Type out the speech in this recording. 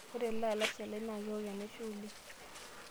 Ore ele alashe lai naa kewok enaisho oleng.